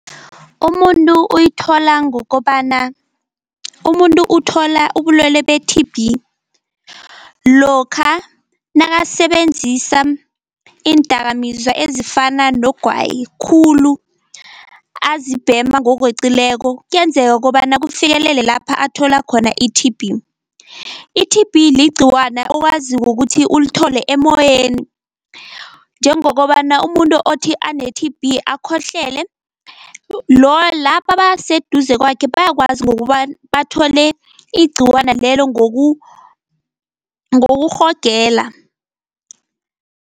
Umuntu uyithola ngokobana. Umuntu uthola ubulwele be-T_B lokha nakasebenzisa iindakamizwa ezifana nogwayi khulu, azibhema ngokweqileko kuyenzeka kobana kufikelele lapha athola khona i-T_B. I-T_B ligciwana owaziko kuthi ulithole emoyeni njengokobana umuntu othi ane-T_B akhohlele laba baseduze kwakhe bayakwazi ngokobana bathole igciwana lelo ngokurhogela.